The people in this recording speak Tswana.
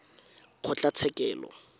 kgotlatshekelo